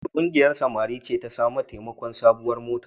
Wace ƙungiyar samari ce ta sami taimakon sabuwar mota?